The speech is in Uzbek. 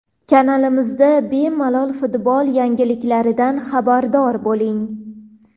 Kanalimizda bemalol futbol yangiliklaridan xabardor bo‘ling.